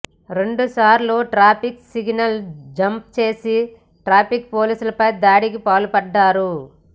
రెండు సార్లు traffic signal jump చేసి ట్రాఫిక్ పోలీసులపై దాడికి పాల్పడ్డారు